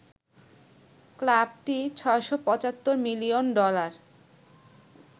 ক্লাবটি ৬৭৫ million dollar